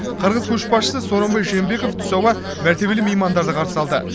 қырғыз көшбасшысы сооронбай жээнбеков түс ауа мәртебелі меймандарды қарсы алды